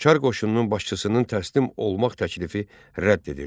Çar qoşununun başçısının təslim olmaq təklifi rədd edildi.